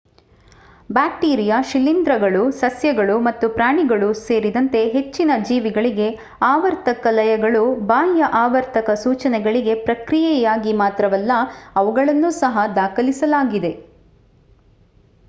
bacteria ಶಿಲೀಂಧ್ರಗಳು ಸಸ್ಯಗಳು ಮತ್ತು ಪ್ರಾಣಿಗಳು ಸೇರಿದಂತೆ ಹೆಚ್ಚಿನ ಜೀವಿಗಳಿಗೆ ಆವರ್ತಕ ಲಯಗಳು ಬಾಹ್ಯ ಆವರ್ತಕ ಸೂಚನೆಗಳಿಗೆ ಪ್ರತಿಕ್ರಿಯೆಯಾಗಿ ಮಾತ್ರವಲ್ಲ ಅವುಗಳನ್ನು ಸಹ ದಾಖಲಿಸಲಾಗಿದೆ